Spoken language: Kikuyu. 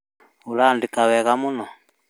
ũrandĩka wega mũno